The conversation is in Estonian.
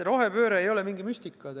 Rohepööre ei ole mingi müstika.